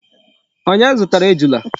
Onye zutara Ejula?